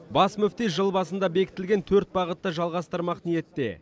бас мүфти жыл басында бекітілген төрт бағытты жалғастырмақ ниетте